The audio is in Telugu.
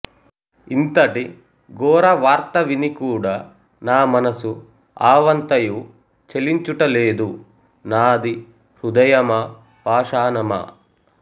ఇంతటి ఘోర వార్త విని కూడా నా మనసు ఆవంతయు చలించుట లేదు నాది హృదయమా పాషాణమా